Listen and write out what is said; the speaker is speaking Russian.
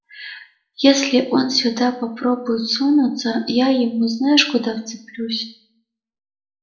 если он сюда попробует сунуться я ему знаешь куда вцеплюсь